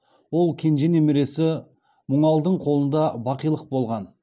ол кенже немересі мұңалдың қолында бақилық болған